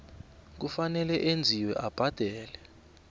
kufanele enziwe abhadele